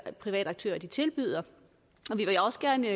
private aktører tilbyder og vi vil også gerne